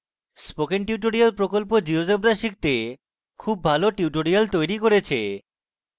spoken tutorial প্রকল্প GeoGebra শিখতে খুল ভালো tutorial তৈরী করেছে